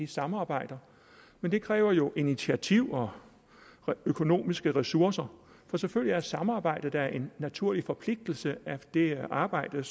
samarbejder men det kræver jo initiativ og økonomiske ressourcer for selvfølgelig er samarbejde da en naturlig forpligtelse af det arbejde